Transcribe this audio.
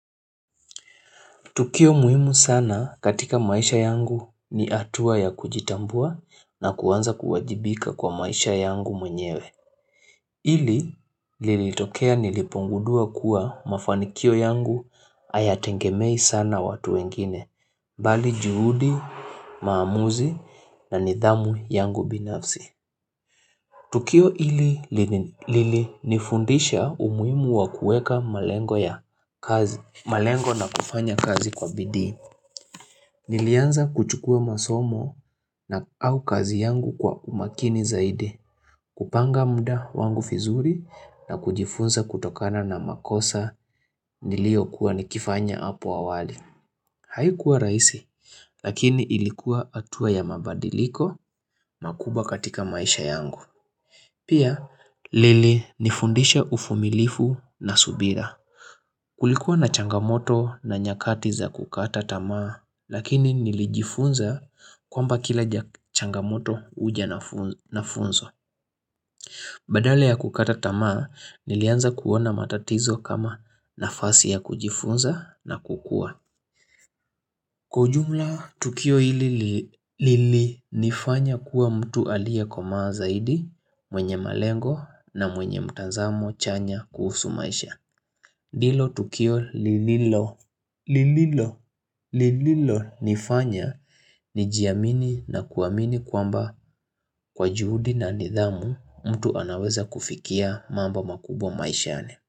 Tukio muhimu sana katika maisha yangu ni hatua ya kujitambua na kuanza kuwajibika kwa maisha yangu mwenyewe. Ili lilitokea nilipongudua kuwa mafanikio yangu hayatengemei sana watu wengine, bali juhudi, maamuzi na nidhamu yangu binafsi. Tukio ili lilinifundisha umuhimu wa kuweka malengo na kufanya kazi kwa bidii. Nilianza kuchukua masomo na au kazi yangu kwa umakini zaidi, kupanga mda wangu vizuri na kujifunza kutokana na makosa niliokuwa nikifanya apa awali. Haikuwa raisi, lakini ilikuwa hatua ya mabadiliko makubwa katika maisha yangu. Pia, lilinifundisha ufumilifu na subira. Kulikuwa na changamoto na nyakati za kukata tamaa, lakini nilijifunza kwamba kila changamoto huja na funzo. Badala ya kukata tamaa, nilianza kuona matatizo kama nafasi ya kujifunza na kukua. Kwa ujumla, tukio hili lilinifanya kuwa mtu aliyekomaa zaidi, mwenye malengo na mwenye mtazamo chanya kuhusu maisha. Hilo tukio lililo, lililo, lililonifanya nijiamini na kuamini kwamba kwa juhudi na nidhamu mtu anaweza kufikia mambo makubwa maishani.